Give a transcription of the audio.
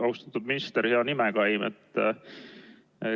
Austatud minister, hea nimekaim!